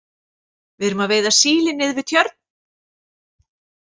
Við erum að veiða síli niður við Tjörn.